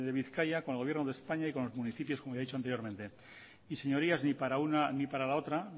bizkaia con el gobierno de españa y con los municipios como ya he dicho anteriormente y señorías ni para una ni para la otra